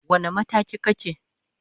Wane mataki kake?